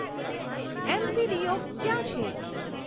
એમસીડીઓ ક્યાં છે